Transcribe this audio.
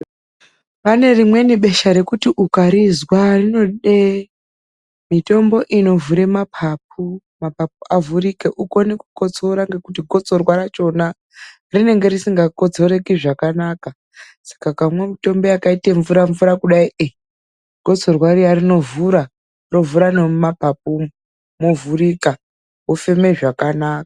PANE RIMWENI BESHA REKUTI UKARIZWA RINODE MITOMBO UNOVHURE MAPAPU, MAPAPU AVHURIKE UKONE KUKOTSORA NGEKUTI GOTSORWA RACHONA RINENGE RISINGAKOTSOREKI ZVAKANAKA. SAKA UKAMWA MITOMBO YAKAITE MVURA-MVURA KUDAI GOTSORWA RIYA RINOVHURA, ROVHURA NEMUMAPAPU UMU, MOVHURIKA, WOFEMA ZVAKANAKA.